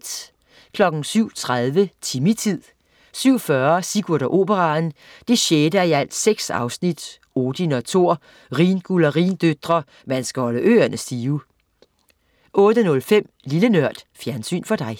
07.30 Timmy-tid 07.40 Sigurd og Operaen. 6:6 Odin og Thor - Rhinguld og rhindøtre, man skal holde ørene stive! 08.05 Lille Nørd. Fjernsyn for dig